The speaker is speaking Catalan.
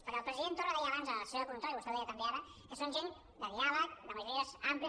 perquè el president torra deia abans a la sessió de control i vostè ho deia també ara que són gent de diàleg de majories àmplies